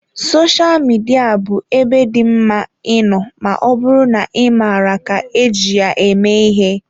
Sosha Midia bụ ebe dị mma ịnọ ma ọ bụrụ na ị maara ka eji ya eme ihe.